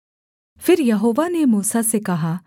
फिर यहोवा ने मूसा से कहा